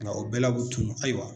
Nga o bɛɛ la o bɛ tunun, ayiwa